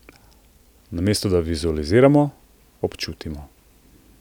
Namesto da vizualiziramo, občutimo.